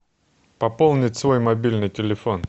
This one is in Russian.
пополнить свой мобильный телефон